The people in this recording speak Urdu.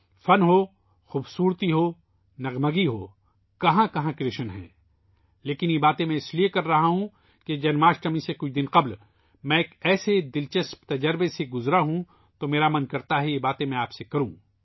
فن ہو ، خوبصورتی ہو ، کہاں کہاں کرشن ہیں لیکن یہ باتیں میں اِس لئے کر رہا ہوں کہ جنم اشٹمی سے کچھ دن پہلے میں ایک ایسے دلچسپ تجربے سے گزرا ہوں ، میرا دل چاہتا ہے کہ یہ باتیں میں آپ کو بتاؤں